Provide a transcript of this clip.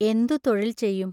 എന്തു തൊഴിൽ ചെയ്യും?